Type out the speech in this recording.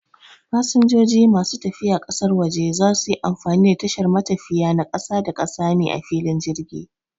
Fasanjoji masu tafiya ƙasar waje za suyi amfani da tashar matafiya na ƙasa-da-ƙasa ne a filin jirgi